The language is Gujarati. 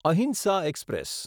અહિંસા એક્સપ્રેસ